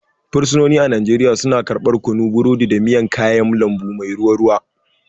Fursunoni a Najeriya suna karɓar kunu, burodi, da miyan kayan lambu mai ruwa ruwa.